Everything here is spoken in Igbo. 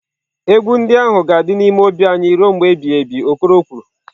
"Egwu ndị ahụ ga-adị n'ime obi anyị ruo mgbe ebighị ebi" okoro kwuru